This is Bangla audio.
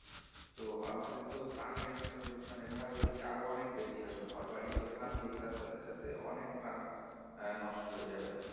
তো আমাদের তো প্রাণের ক্ষয়ক্ষতি আরো অনেক বেশি হবে ঘরবাড়ি তো ভাঙবেই তার সাথে সাথে অনেক অনেক প্রাণ নষ্ট হয়ে যাবে